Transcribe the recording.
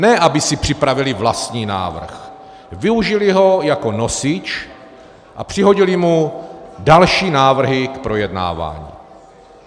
Ne aby si připravili vlastní návrh, využili ho jako nosič a přihodili mu další návrhy k projednávání.